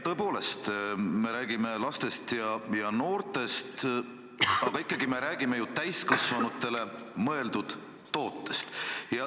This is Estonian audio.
Tõepoolest, me räägime lastest ja noortest, aga ikkagi me räägime ju täiskasvanutele mõeldud tootest.